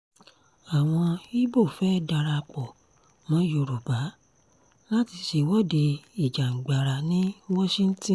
àwọn ibo fẹ́ẹ́ darapọ̀ mọ́ yorùbá láti ṣèwọ̀de ìjàngbara ní washington